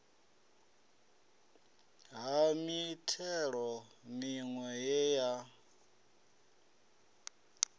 ha mithelo miwe ye ya